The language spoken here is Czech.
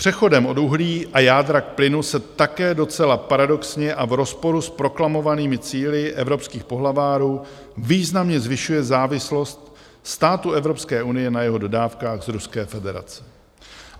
Přechodem od uhlí a jádra k plynu se také docela paradoxně a v rozporu s proklamovanými cíli evropských pohlavárů významně zvyšuje závislost států Evropské unie na jeho dodávkách z Ruské federace.